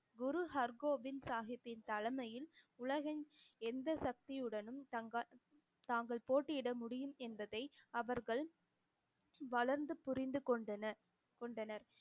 குரு ஹர்கோபிந்த் சாஹிப்பின் தலைமையில் உலகின் எந்த சக்தியுடனும் தங்க~ தாங்கள் போட்டியிட முடியும் என்பதை அவர்கள் வளர்ந்து புரிந்து கொண்டனர் கொண்டனர்